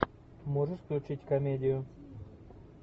можешь включить комедию